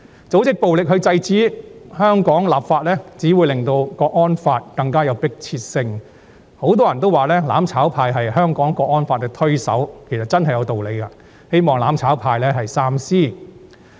組織暴力來制止香港立法，只會令訂立港區國安法更具迫切性，很多人說"攬炒派"是港區國安法的推手，其實真是有道理的，希望"攬炒派"三思。